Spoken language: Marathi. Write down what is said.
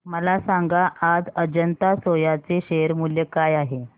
मला सांगा आज अजंता सोया चे शेअर मूल्य काय आहे